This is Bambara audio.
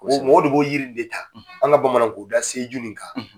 mɔgɔ de b'o yiri de ta an ka bamananw ko se joli in kan.